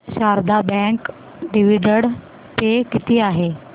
Sharda bank dividend pay किती आहे